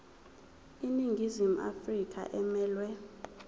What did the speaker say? iningizimu afrika emelwe